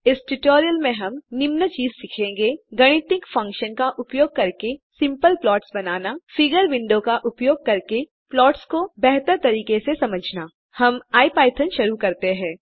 इस ट्यूटोरियल में हम निम्न चीज़े सीखेंगे गणितीय फंक्शन का उपयोग करके सिंपल प्लॉट्स बनाना फिगर विंडो का उपयोग करके प्लॉट्स को बेहतर तरीके से समझना सबसे पहले हम इपिथॉन शुरू करते हैं